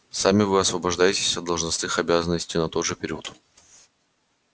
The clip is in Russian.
сами вы освобождаетесь от должностных обязанностей на тот же период